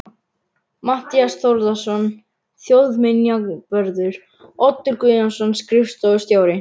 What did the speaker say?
Matthías Þórðarson þjóðminjavörður, Oddur Guðjónsson, skrifstofustjóri